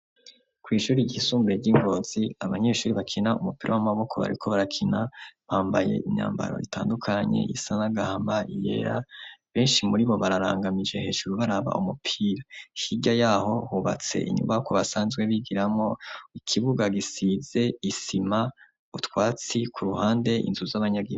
ku ishuri ry'isumbuye ry'ingonzi, abanyeshuri bakina umupira w'amaboko bariko barakina, bambaye imyambaro itandukanye, iyisa n'agahama, iyera, benshi muri bo bararangamije hejuru baraba umupira. hirya yaho hubatse inyubakwa basanzwe bigiramo, ikibuga gisize isima, utwatsi ku ruhande, inzu z'abanyagihugu.